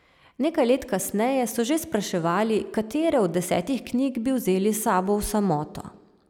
Nekaj let kasneje so že spraševali, katere od desetih knjig bi vzeli s sabo v samoto.